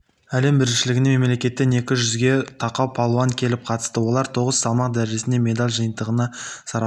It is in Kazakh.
әлем біріншілігіне мемлекеттен екі жүзге тақау палуан келіп қатысты олар тоғыз салмақ дәрежесінде медаль жиынтығын сарапқа